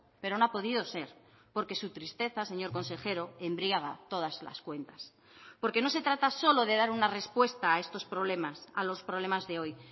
pero no ha podido ser porque su tristeza señor consejero embriaga todas las cuentas porque no se trata solo de dar una respuesta a estos problemas a los problemas de hoy